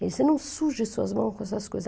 Ele disse, não suje suas mãos com essas coisas.